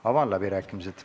Avan läbirääkimised.